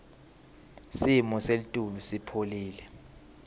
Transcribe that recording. simo selitulu sipholile